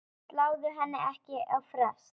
Sláðu henni ekki á frest.